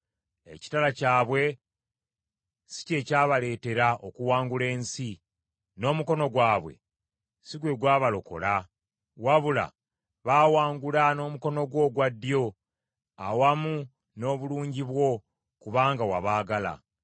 Ekitala kyabwe si kye kyabaleetera okuwangula ensi, n’omukono gwabwe si gwe gwabalokola; wabula baawangula n’omukono gwo ogwa ddyo awamu n’obulungi bwo, kubanga wabaagala.